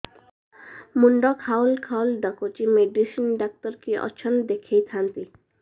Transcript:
ମୁଣ୍ଡ ଖାଉଲ୍ ଖାଉଲ୍ ଡାକୁଚି ମେଡିସିନ ଡାକ୍ତର କିଏ ଅଛନ୍ ଦେଖେଇ ଥାନ୍ତି